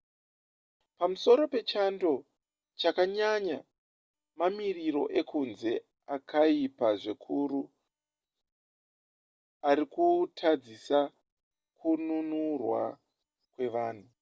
pamusoro pechando chakanyanya mamiriro ekunze akaipa zvikuru arikutadzisa kununurwa kwevanhu